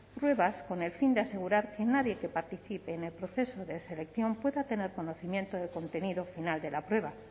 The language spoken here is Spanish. pruebas con el fin de asegurar que nadie que participe en el proceso de selección pueda tener conocimiento del contenido final de la prueba